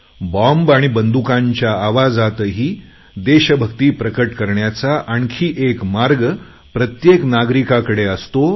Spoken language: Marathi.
बॉम्ब आणि बंदुकांच्या आवाजातही देशभक्ती प्रकट करण्याचा आणखी एक मार्ग प्रत्येक नागरिकाकडे असतो